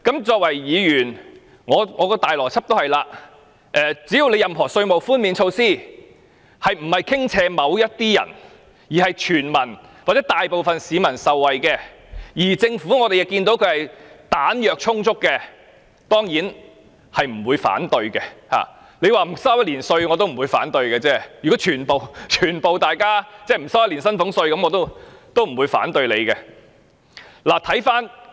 作為議員，我的邏輯是只要有任何稅務寬免措施是不傾斜於某部分人，是全民或大部分市民可受惠，而政府又彈藥充足的，我當然不會反對，即使免1年稅也不會反對，如果全民寬免1年薪俸稅，我也不反對。